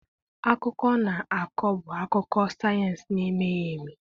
Akụkọ a ọ na-akọ bụ akụkọ sayensị na-emeghị eme.